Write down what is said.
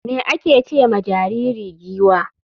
me ake ce ma jariri giwa?